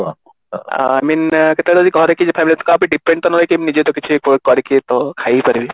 I mean କେତେବେଳେ ଘରେ କିଏ family କାହା ଉପରେ depend ତ ନ ହେଇକି ନିଜେ ତ କିଛି କରିକି ତ ଖାଇ ପାରିବି